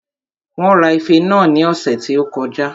Wón ra ife náà ní ọ̀sẹ̀ tí ó kọjá